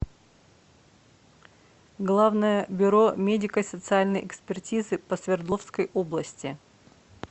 главное бюро медико социальной экспертизы по свердловской области